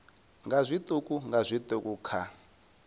nga zwiṱuku nga zwiṱuku kha